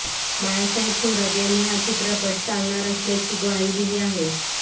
बाळासाहेब थोरात यांनी हा चित्रपट चालणार असल्याची ग्वाही दिली आहे